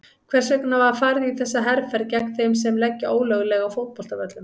Hvers vegna var farið í þessa herferð gegn þeim sem leggja ólöglega á fótboltavöllum?